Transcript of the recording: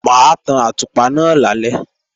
Mà á tan àtùpà náà lálẹ́